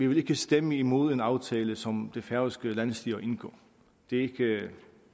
vil stemme imod en aftale som det færøske landsstyre indgår det